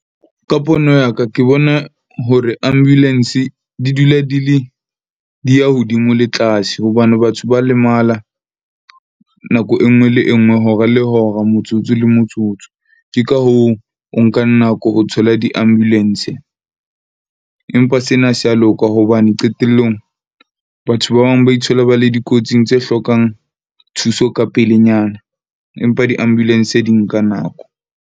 Ka pono ya ka ke bona hore ambulance di dula di le di ya hodimo le tlase hobane batho ba lemala nako e nngwe le e nngwe, hora le hora motsotso le motsotso. Ke ka hoo, o nkang nako ho thola di-ambulance. Empa sena se ya loka hobane qetellong batho ba bang ba ithola ba le dikotsing tse hlokang thuso ka pelenyana, empa di-ambulance di nka nako.